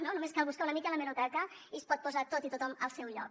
només cal buscar una mica a l’hemeroteca i es pot posar tot i tothom al seu lloc